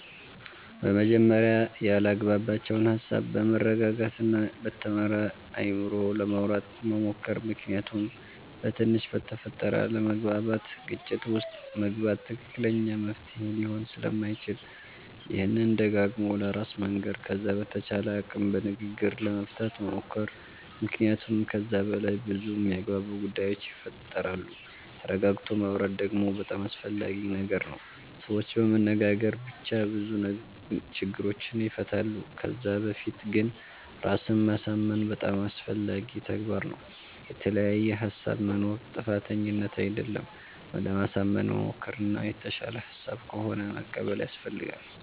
በመጀመርያ ያላግባባቸዉን ሃሳብ በመረጋጋት እና በተማረ አይምሮ ለማዉራት መሞከር ምክንያቱም በትንሽ በተፈጠረ አለመግባባት ግጭት ዉስጥ መግባት ትክክለኛ መፍትሄ ሊሆን ስለማይችል ይሄንን ደጋግሞ ለራስ መንገር ከዛ በተቻለ አቅም በንግግር ለመፍታት መሞከር መክንያቱመ ከዛ በላይ በዙ የሚያግባቡ ጉዳዮች ይፈጠራሉ ተረጋግቶ ማወራት ደግሞ በጣም አስፈላጊ ነገር ነዉ ሰዎች በመነጋገር ብቻ ብዙ ችግሮችን ይፈታሉ ከዛ በፊት ግን ራስን ማሳምን በጣም አስፈላጊ ተግባር ነዉ። የተለያየ ሃሳብ መኖር ጥፋተኝነት አደለም ለማሳመን መሞከር እና የተሻለ ሃሳብ ከሆነ መቀበል ያሰፈልጋል